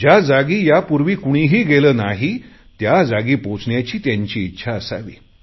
ज्याजागी यापूर्वी कुणीही गेले नाही त्याजागी पोहचण्याची त्यांची इच्छा असावी